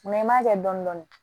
i m'a kɛ dɔni dɔni